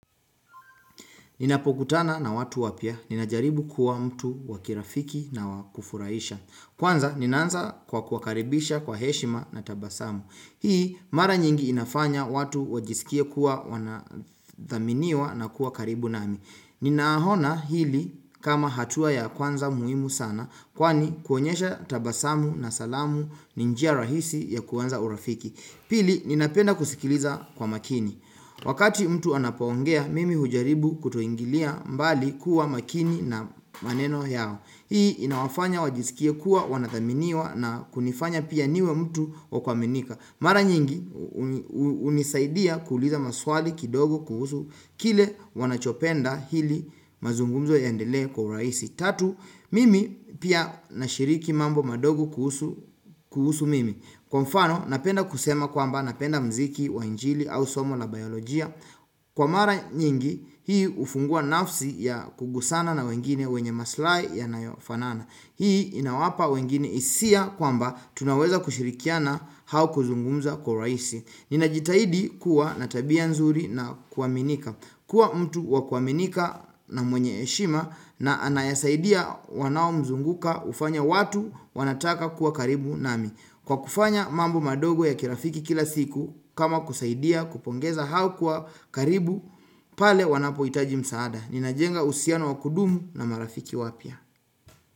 Ninapokutana na watu wapya. Ninajaribu kuwa mtu wa kirafiki na wa kufuraisha. Kwanza ninaanza kwa kuwakaribisha kwa heshima na tabasamu. Hii mara nyingi inafanya watu wajisikie kuwa wanathaminiwa na kuwa karibu nami. Ninahona hili kama hatua ya kwanza muimu sana kwani kuonyesha tabasamu na salamu ni njia rahisi ya kwanza urafiki Pili ninapenda kusikiliza kwa makini Wakati mtu anapoongea mimi hujaribu kutoingilia mbali kuwa makini na maneno yao Hii inawafanya wajisikie kuwa wanathaminiwa na kunifanya pia niwe mtu wa kuaminika Mara nyingi hunisaidia kuuliza maswali kidogo kuhusu kile wanachopenda hili mazungumzo yaendelee kwa uraisi tatu Mimi pia nashiriki mambo madogo kuhusu mimi Kwa mfano napenda kusema kwamba napenda mziki wa injili au somo la biolojia Kwa mara nyingi hii hufungua nafsi ya kugusana na wengine wenye maslai yanayofanana Hii inawapa wengine isia kwamba tunaweza kushirikiana hau kuzungumza kwa uraisi Ninajitahidi kuwa na tabia nzuri na kuaminika kuwa mtu wa kuaminika na mwenye heshima na anayesaidia wanaomzunguka hufanya watu wanataka kuwa karibu nami Kwa kufanya mambo madogo ya kirafiki kila siku kama kusaidia kupongeza hau kuwa karibu pale wanapoitaji msaada Ninajenga usiano wa kudumu na marafiki wapya.